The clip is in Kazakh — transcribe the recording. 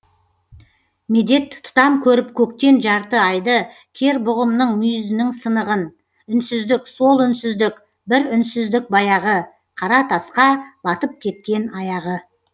медет тұтам көріп көктен жарты айды кер бұғымның мұйізінің сынығын үнсіздік сол үнсіздік бір үнсіздік баяғы қара тасқа батып кеткен аяғы